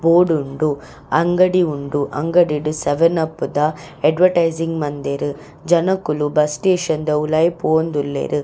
ಓಡುಂಡು ಅಂಗಡು ಉಂಡು ಅಂಗಡಿಡ್ ಸೆವೆನ್ ಅಪ್ ದ ಎಡ್ವಟೈಸಿಂಗ್ ಮಂದೆರ್ ಜನೊಕುಲು ಬಸ್ಸ್ ಸ್ಟೇಷನ್ ದ ಉಲಾಯಿ ಪೋವೊಂದುಲ್ಲೆರ್.